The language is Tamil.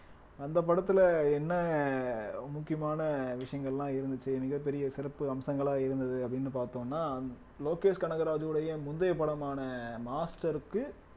அந்த படத்துல என்ன முக்கியமான விஷயங்கள்லாம் இருந்துச்சு மிகப் பெரிய சிறப்பு அம்சங்களாக இருந்தது அப்படீன்னு பார்த்தோம்னா லோகேஷ் கனகராஜுடைய முந்தைய படமான மாஸ்டருக்கு